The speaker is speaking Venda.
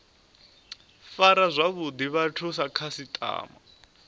fara zwavhuḓi vhathu sa khasiṱama